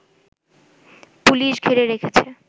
police ঘিরে রেখেছে